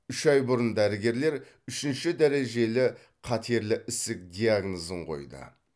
үш ай бұрын дәрігерлер үшінші дәрежелі қатерлі ісік диагнозын қойды